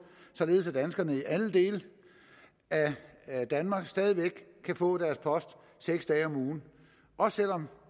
således at danskerne i alle dele af danmark stadig væk kan få deres post seks dage om ugen også selv om